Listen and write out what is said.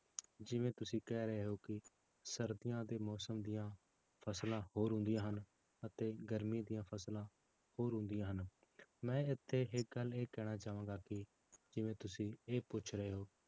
ਜਿਵੇਂ ਤੁਸੀਂ ਕਹਿ ਰਹੇ ਹੋ ਕਿ ਸਰਦੀਆਂ ਦੇ ਮੌਸਮ ਦੀਆਂ ਫਸਲਾਂ ਹੋਰ ਹੁੰਦੀਆਂ ਹਨ, ਅਤੇ ਗਰਮੀ ਦੀਆਂ ਫਸਲਾਂ ਹੋਰ ਹੁੰਦੀਆਂ ਹਨ, ਮੈਂ ਇੱਥੇ ਇੱਕ ਗੱਲ ਇਹ ਕਹਿਣਾ ਚਾਹਾਂਗਾ ਕਿ ਜਿਵੇਂ ਤੁਸੀਂ ਇਹ ਪੁੱਛ ਰਹੇ ਹੋ